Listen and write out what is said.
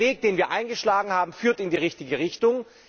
Der Weg, den wir eingeschlagen haben, führt in die richtige Richtung.